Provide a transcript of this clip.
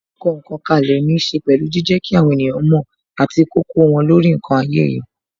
Kíkọ ǹkan kalẹ ní ṣe pẹ̀lú jijẹ kí àwọn ènìyàn mo àti kíkó wọn lórí ǹkan ayé yìí.